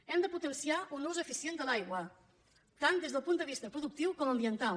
hem de potenciar un ús eficient de l’aigua tant des del punt de vista productiu com ambiental